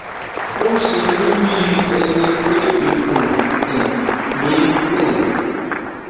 ó ń ṣe mih bí ẹni pé ikùn um mí kún